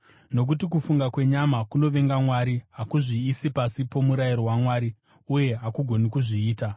nokuti kufunga kwenyama kunovenga Mwari. Hakuzviisi pasi pomurayiro waMwari, uye hakugoni kuzviita.